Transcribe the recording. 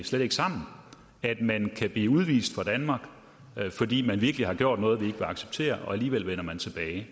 slet ikke sammen at man kan blive udvist fra danmark fordi man virkelig har gjort noget vil acceptere og alligevel vende tilbage